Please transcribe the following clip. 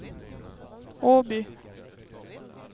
Åby